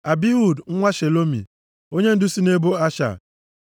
Abihud nwa Shelomi, onyendu si nʼebo Asha.